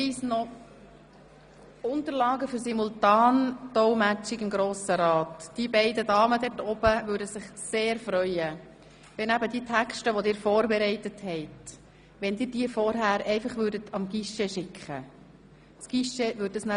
Noch ein Hinweis zu den Unterlagen für die Simultandolmetschung im Grossen Rat: Die beiden Damen oben in der Kabine würden sich sehr freuen, wenn Sie Ihre vorbereiteten Texte vorgängig dem Guichet schicken würden, welches diese weiterleitet.